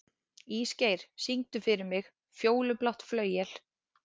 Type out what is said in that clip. Ísgeir, syngdu fyrir mig „Fjólublátt flauel“.